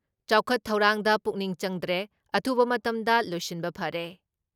ꯆꯥꯎꯈꯠ ꯊꯧꯔꯥꯡꯗ ꯄꯨꯛꯅꯤꯡ ꯆꯪꯗ꯭ꯔꯦ, ꯑꯊꯨꯕ ꯃꯇꯝꯗ ꯂꯣꯏꯁꯤꯟꯕ ꯐꯔꯦ